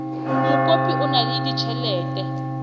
mokopi o na le ditjhelete